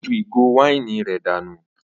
Ó ju ìgò wáìnì rẹ̀ dànù.